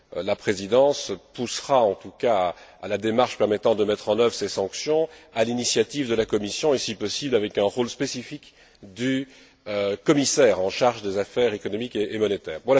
La Présidence encouragera en tout cas la démarche permettant de mettre en œuvre ces sanctions, à l'initiative de la Commission et, si possible, avec un rôle spécifique du commissaire en charge des affaires économiques et monétaires.